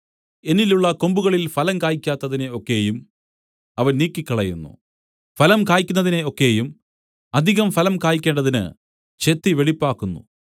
എന്നിലുള്ള കൊമ്പുകളിൽ ഫലം കായ്ക്കാത്തതിനെ ഒക്കെയും അവൻ നീക്കിക്കളയുന്നു ഫലം കായ്ക്കുന്നതിനെ ഒക്കെയും അധികം ഫലം കായ്ക്കേണ്ടതിന് ചെത്തി വെടിപ്പാക്കുന്നു